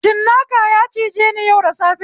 Cinnaka ya cijeni yau da safe